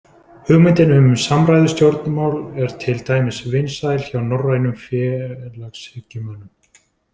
Hugmyndin um samræðustjórnmál er til dæmis vinsæl hjá norrænum félagshyggjumönnum.